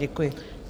Děkuji.